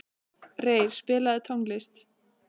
Reyr, spilaðu tónlist.